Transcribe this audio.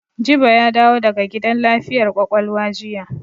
Jibo ya dawo daga gidan lafiyar ƙwaƙwalwa jiya.